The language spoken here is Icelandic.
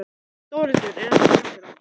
Þórhildur: Er þetta skemmtilegt?